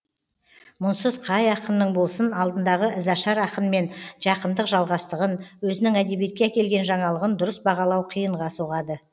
мұнсыз қай ақынның болсын алдындағы ізашар ақынмен жақындық жалғастығын өзінің әдебиетке әкелген жаңалығын дұрыс бағалау қиынға соғады